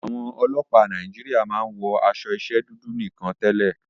Àwọn ọlọ́pàá Nàíjíríà máa ń wọ aṣọ iṣẹ́ dúdú nìkan tẹ́lẹ̀.